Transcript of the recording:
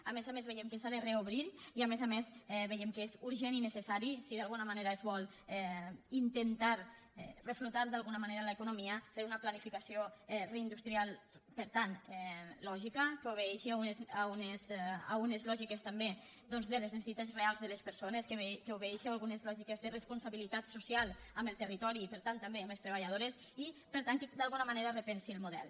a més a més veiem que s’ha de reobrir i a més a més veiem que és urgent i necessari si d’alguna manera es vol intentar reflotar l’economia fer una planificació reindustrial per tant lògica que obeeixi a unes lògiques també doncs de les necessitats reals de les persones que obeeixi a algunes lògiques de responsabilitat so cial amb el territori per tant també amb les treballadores i per tant que d’alguna manera repensi el model